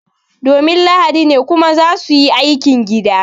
Domin lahadi ne kuma za su yi aikin gida